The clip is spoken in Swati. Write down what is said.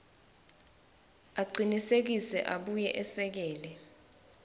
acinisekise abuye esekele